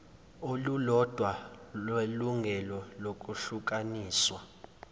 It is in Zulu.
olulodwa lelungelo lokwehlukaniswa